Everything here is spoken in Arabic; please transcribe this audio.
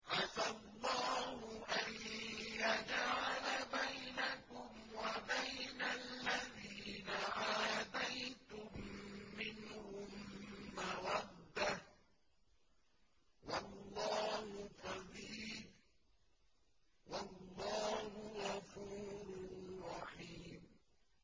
۞ عَسَى اللَّهُ أَن يَجْعَلَ بَيْنَكُمْ وَبَيْنَ الَّذِينَ عَادَيْتُم مِّنْهُم مَّوَدَّةً ۚ وَاللَّهُ قَدِيرٌ ۚ وَاللَّهُ غَفُورٌ رَّحِيمٌ